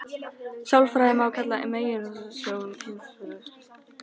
Sjálfræði má því kalla meginhugsjón hins hreina sambands.